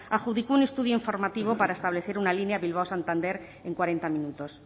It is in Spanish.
adjudicó un estudio informativo para establecer una línea bilbao santander en cuarenta minutos